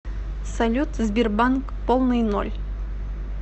салют сбербанк полный ноль